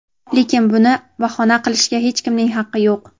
Lekin buni bahona qilishga hech kimning haqqi yo‘q.